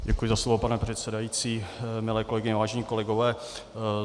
Děkuji za slovo, pane předsedající, milé kolegyně, vážení kolegové.